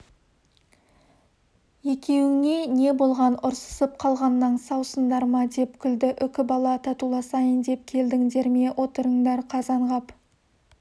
екеуіңе не болған ұрсысып қалғаннан саусыңдар ма деп күлді үкібала татуласайын деп келдіңдер ме отырыңдар қазанғап